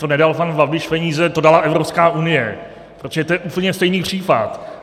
to nedal pan Babiš peníze, to dala Evropská unie, protože to je úplně stejný případ.